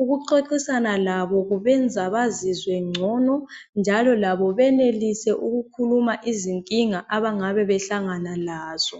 Ukuxoxisana labo kubenza bazizwe ngcono njalo labo benelise ukukhuluma izinkinga abangabe behlangana lazo.